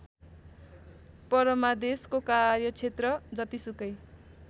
परमादेशको कार्यक्षेत्र जतिसुकै